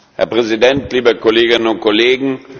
Herr Präsident, liebe Kolleginnen und Kollegen!